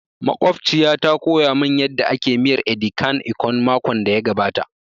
Makwabciya ta koya mun yanda ake miyar edi kan ikong makon da ya gabata